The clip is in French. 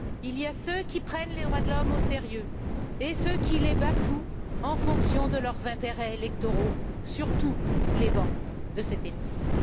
Il y a ceux qui prennent les droits de l'homme au sérieux et ceux qui les bafouent en fonction de leurs intérêts électoraux sur tous les bancs de cet hémicycle.